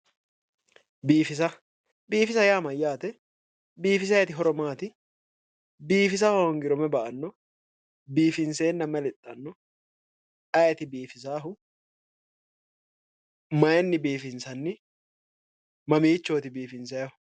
Biifisa biifisa yaa mayyaate biifisayti horo maati biifisa hoongiro mayi ba"anno biifinseenna mayi lexxanno ayeeti biifisaahu mayinni biifinsanni mamiichooti biifinsayhu